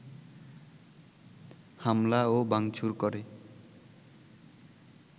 হামলা ও ভাংচুর করে